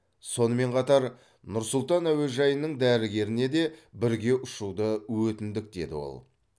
сонымен қатар нұр сұлтан әуежайының дәрігеріне де бірге ұшуды өтіндік деді ол